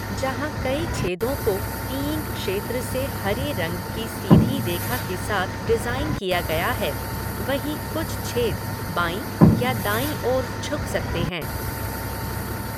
जहाँ कई छेदों को टीइंग क्षेत्र से हरे रंग की सीधी रेखा के साथ डिज़ाइन किया गया है, वहीं कुछ छेद बाईं या दाईं ओर झुक सकते हैं।